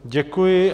Děkuji.